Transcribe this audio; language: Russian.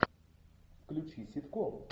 включи ситком